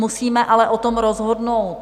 Musíme ale o tom rozhodnout.